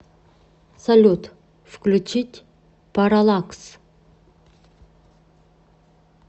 салют включить параллакс